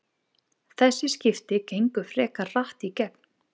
Þessi skipti gengu frekar hratt í gegn.